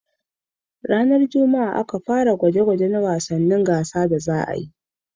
Maimaitawan wasan gidaje ya fara ran Juma'a.